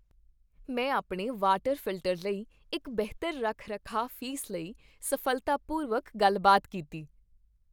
ਮੈਂ ਆਪਣੇ water filter ਲਈ ਇੱਕ ਬਿਹਤਰ ਰੱਖ ਰਖਾਅ ਫੀਸ ਲਈ ਸਫ਼ਲਤਾਪੂਰਵਕ ਗੱਲਬਾਤ ਕੀਤੀ